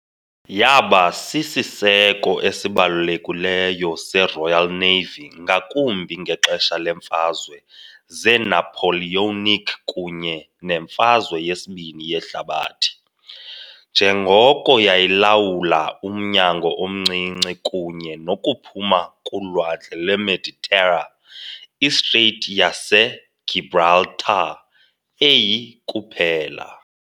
Yaba sisiseko esibalulekileyo seRoyal Navy, ngakumbi ngexesha leeMfazwe zeNapoleonic kunye neMfazwe yesibini yeHlabathi, njengoko yayilawula umnyango omncinci kunye nokuphuma kuLwandle lweMeditera, iStrait yaseGibraltar, eyi- kuphela.